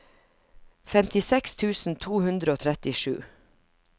femtiseks tusen to hundre og trettisju